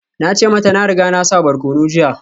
Na ce mata na riga na sa barkonon jiya